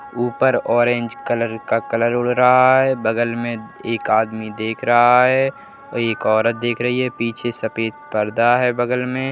ऊपर orange colour का colour उड़ रहा है। बगल में एक आदमी देख रहा है। एक औरत देख रही है पीछे सफेद पर्दा है बगल में।